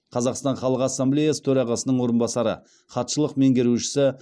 қазақстан халық ассамблеясы төрағасының орынбасары хатшылық меңгерушісі